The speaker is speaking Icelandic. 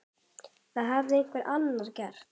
Það hafði einhver annar gert.